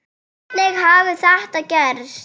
Hvernig hafði þetta gerst?